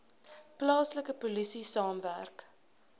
plaaslike polisie saamwerk